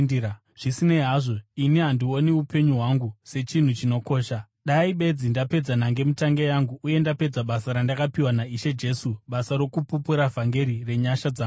Zvisinei hazvo, ini handioni upenyu hwangu sechinhu chinokosha, dai bedzi ndapedza nhangemutange yangu uye ndapedzisa basa randakapiwa naIshe Jesu, basa rokupupura vhangeri renyasha dzaMwari.